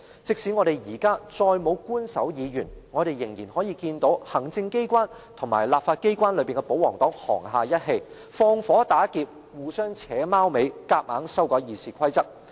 即使我們現在再沒有官守議員，我們仍然可以看到行政機關與立法機關中的保皇黨沆瀣一氣、放火打劫，互相"扯貓尾"，強行修改《議事規則》。